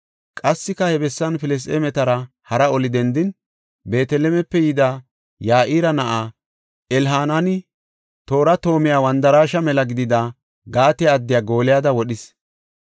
Qassika he bessan Filisxeemetara hara oli dendin, Beetelemepe yida Ya7ira na7aa, Elhanaani, toora toomay wandaraashe mela gidida Gaate addiya Gooliyada wodhis.